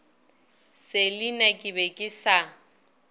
selina ke be ke sa